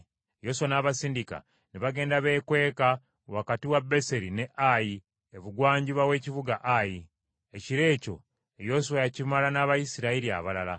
Yoswa n’abasindika ne bagenda beekweka wakati wa Beseri ne Ayi ebugwanjuba w’ekibuga Ayi. Ekiro ekyo Yoswa yakimala n’Abayisirayiri abalala.